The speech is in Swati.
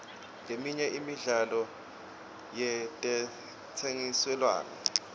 leminye imidlalo yetentsengiselwano